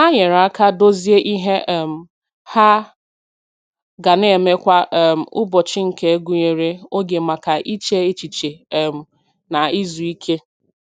Ha nyere aka dozie ihe um ha ga na-eme kwa um ụbọchị nke gụnyere oge maka iche echiche um na izu ike.